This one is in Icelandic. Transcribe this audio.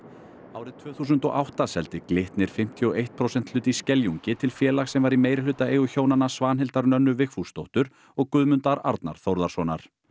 árið tvö þúsund og átta seldi Glitnir fimmtíu og eitt prósenta hlut í Skeljungi til félags sem var í meirihlutaeigu hjónanna Svanhildar Nönnu Vigfúsdóttur og Guðmundar Arnar Þórðarsonar